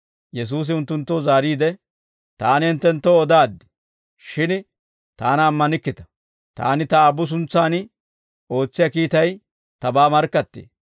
Yesuusi unttunttoo zaariide, «Taani hinttenttoo odaaddi; shin Taana ammanikkita; Taani Ta Aabbu suntsan ootsiyaa kiitay Tabaa markkattee.